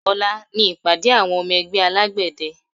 Ọ̀la ni ìpàdé àwọn ọmọ ẹgbẹ́ alágbẹ̀dẹ